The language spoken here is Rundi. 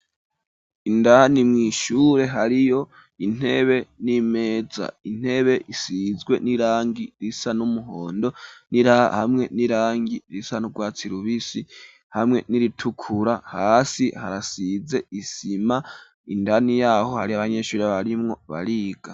Indani mwishure hariyo intebe n'imeza intebe isizwe n'irangi risa n'umuhondo hamwe n'irangi risa nurwatsi rubisi hamwe n'iritukura hasi harasize isima indani yaho hari abanyeshuri abarimwo bariga.